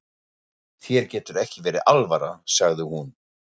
Þér getur ekki verið alvara, sagði hún.